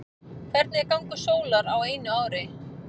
hvernig er gangur sólar á einu ári